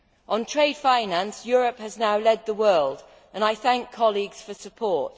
On trade finance, Europe has now led the world, and I thank colleagues for their support.